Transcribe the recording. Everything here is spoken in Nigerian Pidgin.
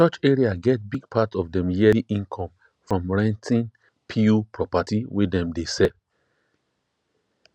church area get big part of dem yearly income from renting pew property wey dem dey sell